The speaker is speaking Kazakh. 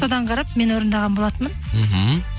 содан қарап мен орындаған болатынмын мхм